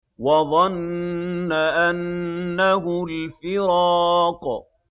وَظَنَّ أَنَّهُ الْفِرَاقُ